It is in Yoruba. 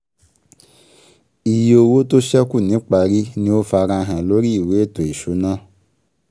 Iye owó tó sẹ́kù niparí ni ó farahàn lórí ìwé ètò ìṣúná